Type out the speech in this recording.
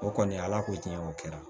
O kɔni ala ko tiɲɛ o kɛra